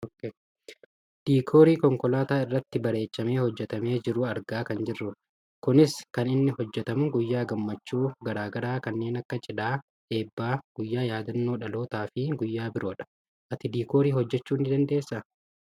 Diikoorii konkolaataa irratti bareechamee hojjatamee jiru argaa kan jirrudha . Kunis kan inni hojjatamu guyyaa gammachuu gara garaa kanneen akka cidhaa, eebbaa , guyyaa yaaddannoo dhalootaafi guyaa biroodha. Ati diikoorii hojjachuu ni dandeessaa?